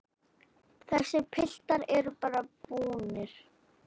Þessir piltar eru bara búnir.